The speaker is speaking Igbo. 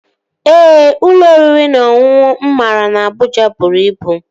Ee, ụlọ oriri na ọṅụṅụ mụ mara na Abụja bụrụ ibu